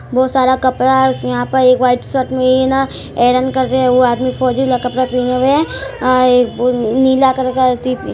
बहुत सारा कपड़ा हैं उसमें यहां पर वाइट शर्ट मे आइरन कर रहैं हैं वो आदमी फोजिला कपड़ा पहने हुए हैं। एक नीला कलर का टि--